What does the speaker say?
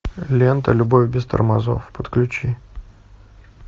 лента любовь без тормозов подключи